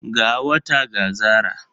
Ga wata ga zara.